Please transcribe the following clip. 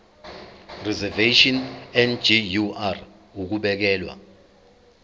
reservation ngur ukubekelwa